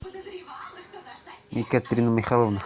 екатерина михайловна